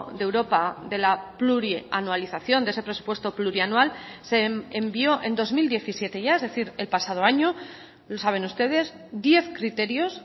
de europa de la plurianualización de ese presupuesto plurianual se envió en dos mil diecisiete ya es decir el pasado año lo saben ustedes diez criterios